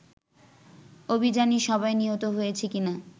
অভিযানেই সবাই নিহত হয়েছে কিনা